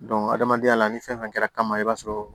adamadenya la ni fɛn fɛn kɛra kama i b'a sɔrɔ